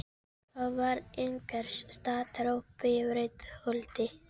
Það var einhvers staðar uppi í Breiðholti.